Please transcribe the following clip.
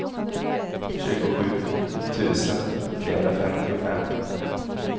tjugosju tusen trehundrafemtiofem